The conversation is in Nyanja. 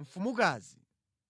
mfumukazi.